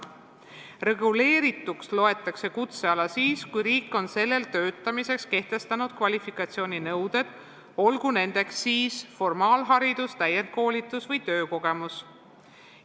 Reguleerituks loetakse kutseala siis, kui riik on sellel töötamiseks kehtestanud kvalifikatsiooninõuded, olgu nendeks siis formaalharidus, täiendkoolitus või töökogemus.